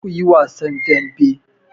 Kar ku yi wasan dambe!